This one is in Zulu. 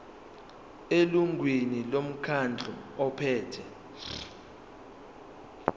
elungwini lomkhandlu ophethe